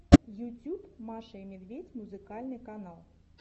ютьюб маша и медведь музыкальный канал